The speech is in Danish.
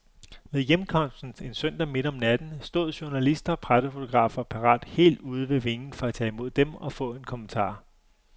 Ved hjemkomsten, en søndag midt om natten, stod journalister og pressefotografer parat helt ude ved vingen for at tage imod dem og få en kommentar.